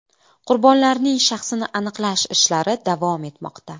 Qurbonlarning shaxsini aniqlash ishlari davom etmoqda.